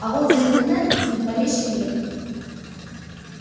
а вот за интернет ни в малейшей мере